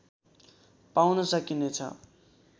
पाउन सकिने छ